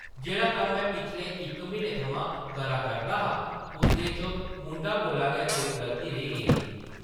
जेह्ड़ा कम्म में पिछले इक म्हीने थमां करा करदा हा उसदे च मुंढा कोला गै कोई गल्ती रेही गेदी ही ।